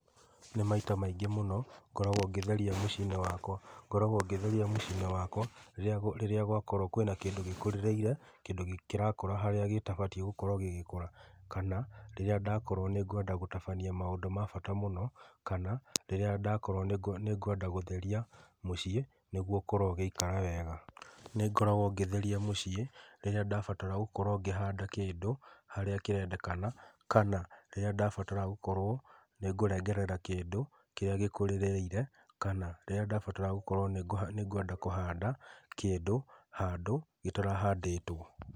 Nĩ maita maingĩ mũno ngoragwo ngĩtheria mũcinĩ wakwa, ngoragwo ngĩtheria mũcinĩ wakwa rĩrĩa gwakoro kwĩna kĩndũ gĩakorwo gĩkũrĩrĩire kĩndũ kĩrakũra harĩa gĩtabatie gũkorwo gĩgĩkũra, kana rĩrĩa ndĩrenda gũtabania maũndũ mabata mũno, kana rĩrĩa ndakorwo nĩngwenda gũtheria mũciĩ nĩguo ũkorwo ũgĩikara wega, nĩ ngoragwo ngĩtheria mũciĩ rĩrĩa ndabatara kũhanda kĩndũ harĩa kĩrendekana kana rĩrĩa ndabatara nĩngũrengerera kindũ kĩrĩa gĩkũrĩrĩire kana rĩrĩa ndabatara gũkorwo nĩngũhanda kĩndũ handũ gĩtarahandĩtwo.